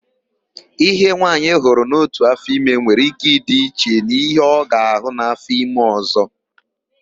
Íhe nwaanyị hụrụ n'ótù áfọime nwere íké ịdị iche n'íhé ọ ga-àhụ́ n'áfọime ọ̀zọ́.